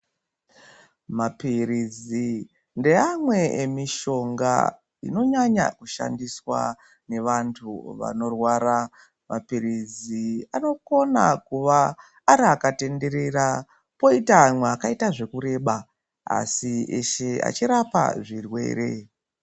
Mapirizi ndeamwe emishonga inonyanya kushandiswa nevantu vanorwara, mapirizi anokona kuva ari akatenderera poita amwe akaita zvekureba asi eshe achirapa zvirwere.